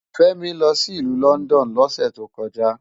Femi lò si ilù Lòndòn lòsè tókòjá